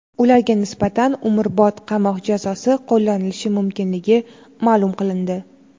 Ularga nisbatan umrbod qamoq jazosi qo‘llanilishi mumkinligi ma’lum qilindi.